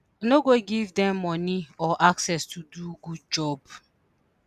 no go give dem moni or access to do good job.